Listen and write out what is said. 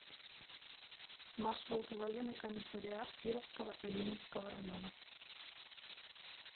маршрут военный комиссариат кировского и ленинского районов